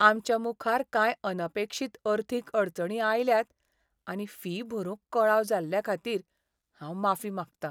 आमच्या मुखार कांय अनपेक्षीत अर्थीक अडचणी आयल्यात आनी फी भरूंक कळाव जाल्लेखातीर हांव माफी मागतां.